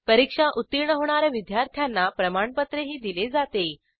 परीक्षा उत्तीर्ण होणा या विद्यार्थ्यांना प्रमाणपत्रही दिले जाते